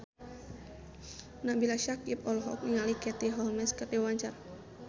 Nabila Syakieb olohok ningali Katie Holmes keur diwawancara